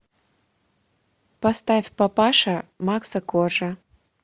поставь папаша макса коржа